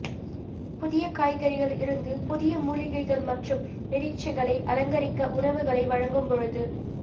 புதிய காய்கறிகள் இருந்து புதிய மூலிகைகள் மற்றும் இறைச்சிகளை அலங்கரிக்க உணவுகளை வழங்கும் பொழுது